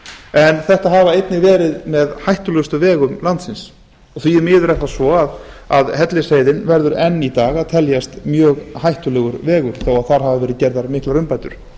en þetta hafa einnig verið með hættulegustu vegum landsins og því miður er það svo að hellisheiðin verður enn í dag að teljast mjög hættulegur vegur þó að þar hafi verið gerðar miklar umbætur